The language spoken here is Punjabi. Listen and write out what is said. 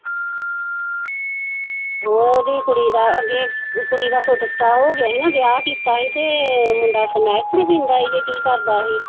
ਉਹਦੀ ਕੁੜੀ ਦਾ ਅੱਗੇ ਕੁੜੀ ਦਾ ਸੁੱਟ ਸੁਟਾ ਹੋ ਗਿਆ ਸੀ ਨਾ ਵਿਆਹ ਕੀਤਾ ਸੀ ਤੇ ਮੁੰਡਾ ਸਮੈਕ ਖਨੀ ਪੀਂਦਾ ਸੀ ਕਿ ਕੀ ਕਰਦਾ ਸੀ।